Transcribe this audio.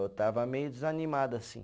Eu estava meio desanimado assim.